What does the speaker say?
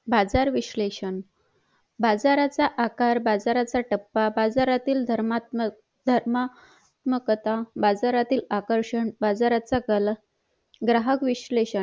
बाजार विश्लेषण बाजाराचा आकार बाजारातील टप्पा बाजारातील धर्मात्मक कथा बाजारातील आकषण बाजाराचा ग्राहक विशलेषण